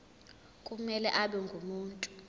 kumele abe ngumuntu